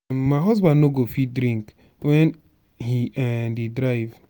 um my husband no go fit drink wen he um dey drive